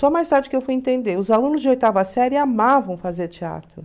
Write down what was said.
Só mais tarde que eu fui entender, os alunos de oitava série amavam fazer teatro.